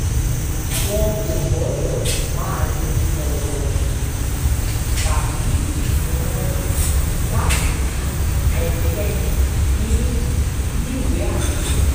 wọn kò gbọ́dọ̀ máa lo ọ̀rọ̀ òṣèlú tàbí ìsúnmọ́ni láti fún ẹnikẹ́ni níníwèé àṣẹ